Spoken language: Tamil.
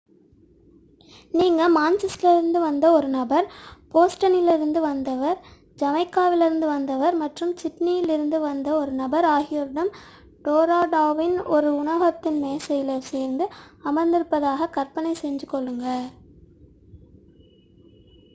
நீங்கள் மான்செஸ்டரிலிருந்து வந்த ஒரு நபர் போஸ்டனிலிருந்து வந்தவர் ஜமைக்காவிலிருந்து வந்தவர் மற்றும் சிட்னியிலிருந்து வந்த ஒரு நபர் ஆகியோருடன் டோரோன்டோவின் ஒரு உணவகத்தின் மேசையில் சேர்ந்து அமர்ந்திருப்பதாக கற்பனை செய்து கொள்ளுங்கள்